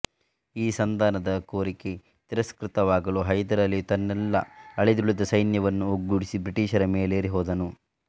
ಈ ಸಂಧಾನದ ಕೋರಿಕೆ ತಿರಸ್ಕೃತವಾಗಲು ಹೈದರಾಲಿಯು ತನ್ನೆಲ್ಲ ಅಳಿದುಳಿದ ಸೈನ್ಯವನ್ನು ಒಗ್ಗೂಡಿಸಿ ಬ್ರಿಟೀಷರ ಮೇಲೇರಿ ಹೋದನು